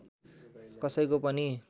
कसैको पनि